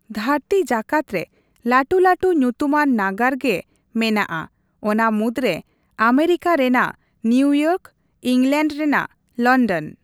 ᱫᱷᱟᱹᱨᱛᱤ ᱡᱟᱠᱟᱛ ᱨᱮ ᱞᱟᱹᱴᱩᱼᱞᱟᱹᱴᱩ ᱧᱩᱛᱩᱢᱟᱱ ᱱᱟᱜᱟᱨ ᱜᱮ ᱢᱮᱱᱟᱜᱼᱟ, ᱚᱱᱟ ᱢᱩᱫᱽᱨᱮ ᱟᱢᱮᱨᱤᱠᱟ ᱨᱮᱱᱟᱜ ᱱᱤᱣᱤᱭᱚᱨᱠ, ᱤᱝᱞᱮᱱᱰ ᱨᱮᱱᱟᱜ ᱞᱚᱱᱰᱚᱱ ᱾